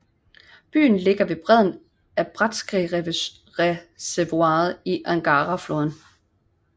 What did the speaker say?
Byen ligger ved bredden af Bratskreservoiret på Angarafloden